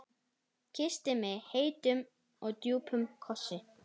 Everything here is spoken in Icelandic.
Kyssti mig heitum, djúpum kossi.